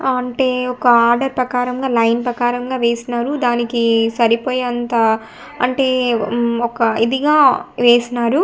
ఆంటే ఒక ఆర్డర్ ప్రకారంగా లైన్ ప్రకారంగా వేసినారు దానికి సరిపోయేంత అంటే మ్మ్ ఒక ఇదిగా వేసినారు.